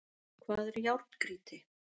Hvað er járngrýti?